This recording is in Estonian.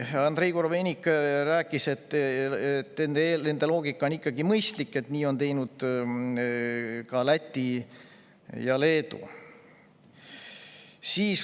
Andrei Korobeinik, et nende loogika on ikkagi mõistlik, et nii on teinud ka Läti ja Leedu.